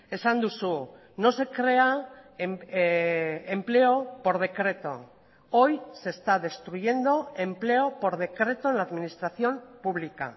esan duzu no se crea empleo por decreto hoy se está destruyendo empleo por decreto en la administración pública